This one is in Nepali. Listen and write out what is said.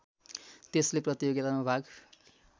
त्यसले प्रतियोगितामा भाग